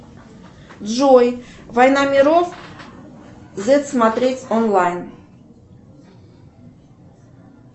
джой война миров зет смотреть онлайн